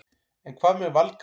En hvað með Valgarð?